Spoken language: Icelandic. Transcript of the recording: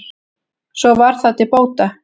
svo var það til bóta